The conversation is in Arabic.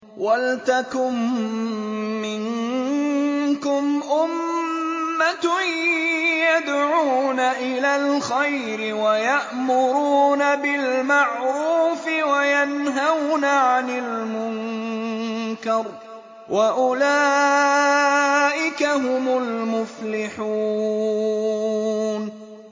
وَلْتَكُن مِّنكُمْ أُمَّةٌ يَدْعُونَ إِلَى الْخَيْرِ وَيَأْمُرُونَ بِالْمَعْرُوفِ وَيَنْهَوْنَ عَنِ الْمُنكَرِ ۚ وَأُولَٰئِكَ هُمُ الْمُفْلِحُونَ